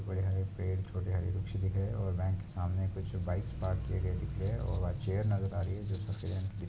बड़े हरे पेड़ छोटे हरे वृक्ष दिख रहे हैं और बैंक के सामने कुछ बाइक्स पार्क किए गए दिख रहे हैं और वहाँ एक चेयर नजर आ रही हैं जो